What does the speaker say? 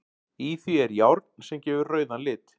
Í því er járn sem gefur rauðan lit.